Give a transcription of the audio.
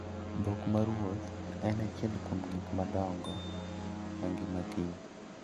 Dhok maruoth en achiel kuom gik madongo e ngima kich.